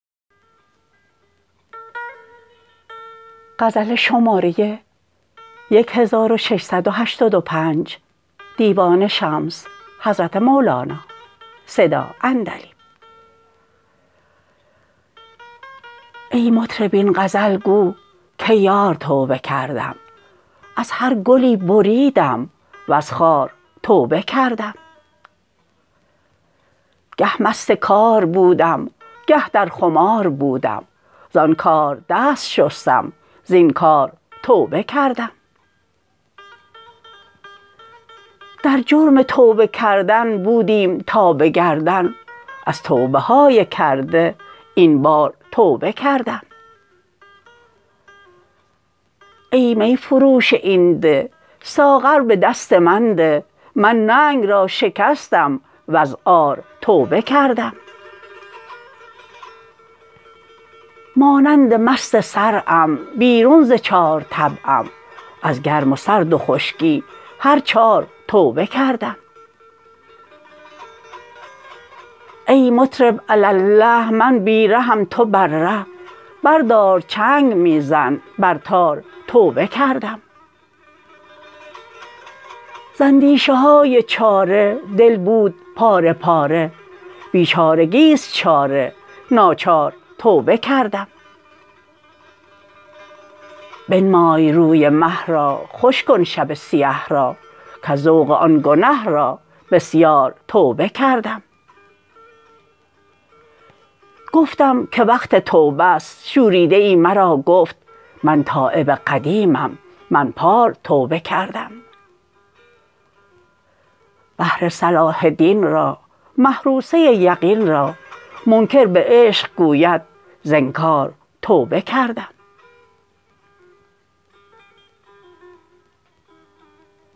ای مطرب این غزل گو کی یار توبه کردم از هر گلی بریدم وز خار توبه کردم گه مست کار بودم گه در خمار بودم زان کار دست شستم زین کار توبه کردم در جرم توبه کردن بودیم تا به گردن از توبه های کرده این بار توبه کردم ای می فروش این ده ساغر به دست من ده من ننگ را شکستم وز عار توبه کردم مانند مست صرعم بیرون ز چار طبعم از گرم و سرد و خشکی هر چار توبه کردم ای مطرب الله الله می بی رهم تو بر ره بردار چنگ می زن بر تار توبه کردم ز اندیشه های چاره دل بود پاره پاره بیچارگی است چاره ناچار توبه کردم بنمای روی مه را خوش کن شب سیه را کز ذوق آن گنه را بسیار توبه کردم گفتم که وقت توبه ست شوریده ای مرا گفت من تایب قدیمم من پار توبه کردم بهر صلاح دین را محروسه یقین را منکر به عشق گوید ز انکار توبه کردم